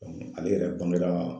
ale yɛrɛ bangera